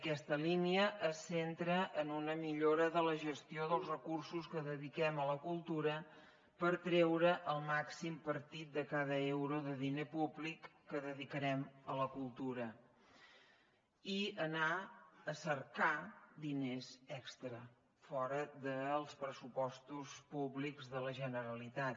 aquesta línia es centra en una millora de la gestió dels recursos que dediquem a la cultura per treure el màxim partit de cada euro de diner públic que dedicarem a la cultura i anar a cercar diners extra fora dels pressupostos públics de la generalitat